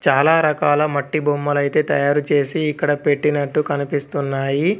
చాలా రకాల మట్టి బొమ్మలైతే తయారు చేసి ఇక్కడ పెట్టినట్టు కనిపిస్తున్నాయి.